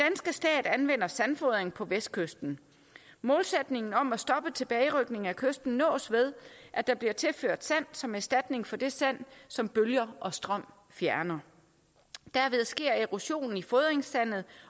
stat anvender sandfodring på vestkysten målsætningen om at stoppe tilbagerykning af kysten nås ved at der bliver tilført sand som erstatning for det sand som bølger og strøm fjerner derved sker erosionen i fodringssandet